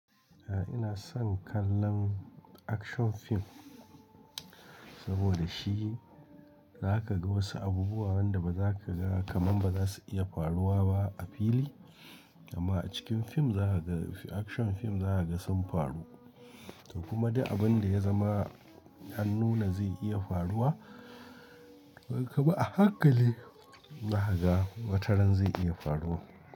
Eh ina son kallon action fim saboda shi za ka ga wasu abubuwa wanda ba za ka ga kaman ba za su iya faruwa ba a fili amma a cikin fim za ka ga action fim za ka ga sun faru. Kuma da abin da ya zama an nuna zai iya faruwa kuma a hakali za ka ga wataran zai iya faruwa.